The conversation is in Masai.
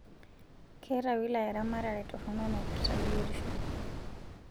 Keeta wilaya eramatare toronok naipirta biotisho